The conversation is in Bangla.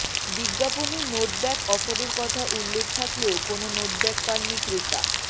বিজ্ঞাপনে নোটব্যাক অফারের কথা উল্লেখ থাকলেও কোনো নোটব্যাক পাননি ক্রেতা